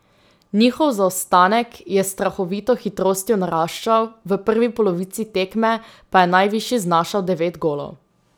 Njihov zaostanek je s strahovito hitrostjo naraščal, v prvi polovici tekme pa je najvišji znašal devet golov.